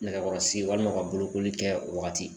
Nɛgɛkɔrɔsi walima ka bolokoli kɛ o wagati